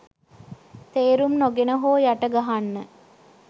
තේරුම් නොගෙන හෝ යට ගහන්න